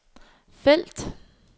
felt